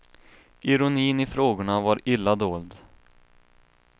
Ironin i frågorna var illa dold.